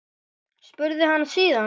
spurði hann síðan.